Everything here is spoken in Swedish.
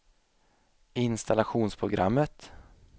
installationsprogrammet